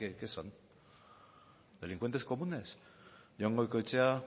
que son delincuentes comunes jon goikoetxea